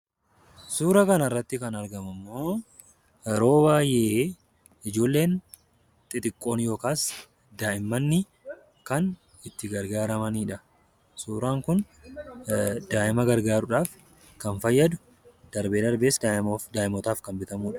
Suuraa kanarratti yeroo baay'ee ijoolleen xixiqqoon yookiin daa'imman itti gargaaramanidha. Suuraan kun daa'ima gargaaruudhaaf kan fayyadu darbee darbees daa'imootaaf kan fayyadudha.